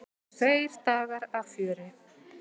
Tveir dagar af fjöri.